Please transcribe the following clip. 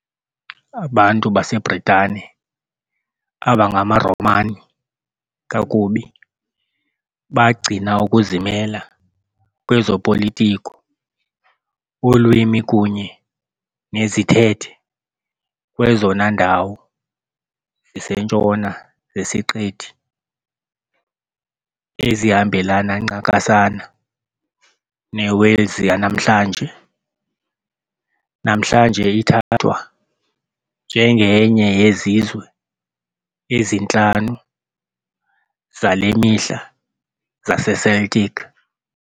Abantu baseBritane, abangamaRomani kakubi, bagcina ukuzimela kwezopolitiko, ulwimi kunye nezithethe kwezona ndawo zisentshona zesiqithi, ezihambelana ncakasana neWales yanamhlanje- namhlanje ithathwa njengenye yezizwe ezintlanu zale mihla zaseCeltic.